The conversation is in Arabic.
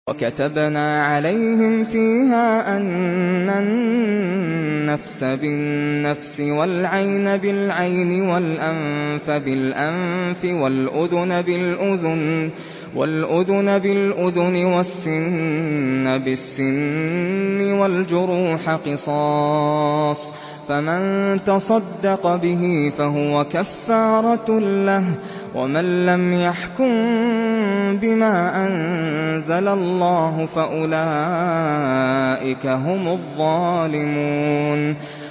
وَكَتَبْنَا عَلَيْهِمْ فِيهَا أَنَّ النَّفْسَ بِالنَّفْسِ وَالْعَيْنَ بِالْعَيْنِ وَالْأَنفَ بِالْأَنفِ وَالْأُذُنَ بِالْأُذُنِ وَالسِّنَّ بِالسِّنِّ وَالْجُرُوحَ قِصَاصٌ ۚ فَمَن تَصَدَّقَ بِهِ فَهُوَ كَفَّارَةٌ لَّهُ ۚ وَمَن لَّمْ يَحْكُم بِمَا أَنزَلَ اللَّهُ فَأُولَٰئِكَ هُمُ الظَّالِمُونَ